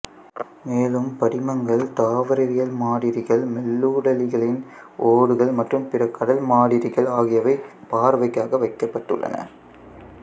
மேலும் படிமங்கள் தாவரவியல் மாதிரிகள் மெல்லுடலிகளின் ஓடுகள் மற்றும் பிற கடல் மாதிரிகள் ஆகியவை பார்வைக்காக வைக்கப்பட்டுள்ளன